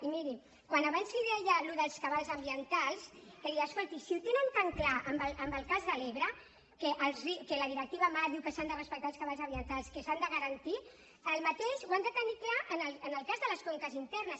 i miri quan abans li deia allò dels cabals ambientals que deia si ho tenen tan clar en el cas de l’ebre que la directiva marc diu que s’han de respectar els cabals ambientals que s’han de garantir el mateix han de tenir clar en el cas de les conques internes